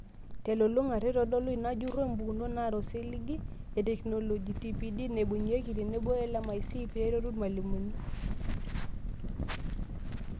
Telulung'ata, eitodolua ina jurro impukunot naata osiligi etekinoloji, TPD naibung'ieki, tenebo LMIC peeretu irmalimuni.